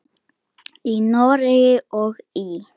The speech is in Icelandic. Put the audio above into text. Í Noregi og í